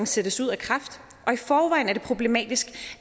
sættes ud af kraft og i forvejen er det problematisk